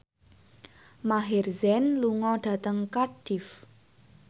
Maher Zein lunga dhateng Cardiff